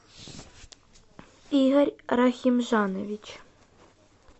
игорь рахимжанович